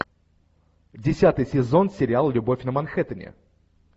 десятый сезон сериал любовь на манхэттене